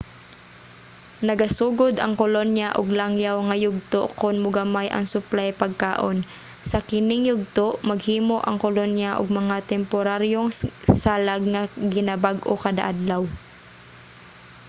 nagasugod ang kolonya og langyaw nga yugto kon mogamay ang suplay pagkaon. sa kining yugto maghimo ang kolonya og mga temporaryong salag nga ginabag-o kada-adlaw